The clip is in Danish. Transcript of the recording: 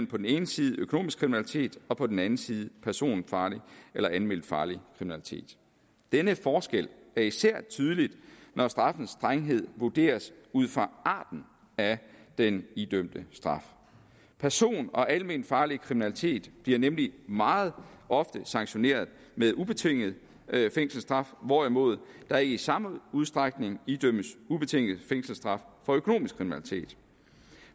på den ene side økonomisk kriminalitet og på den anden side personfarlig eller alment farlig kriminalitet denne forskel er især tydelig når straffens strenghed vurderes ud fra arten af den idømte straf person og alment farlig kriminalitet bliver nemlig meget ofte sanktioneret med ubetinget fængselsstraf hvorimod der ikke i samme udstrækning idømmes ubetinget fængselsstraf for økonomisk kriminalitet